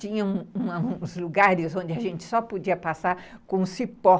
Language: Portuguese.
Tinha uns uns lugares onde a gente só podia passar com o cipó.